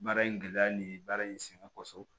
Baara in gɛlɛya ni baara in sɛgɛn kɔsɔn